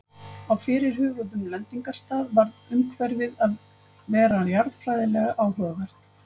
á fyrirhuguðum lendingarstað varð umhverfið að vera jarðfræðilega áhugavert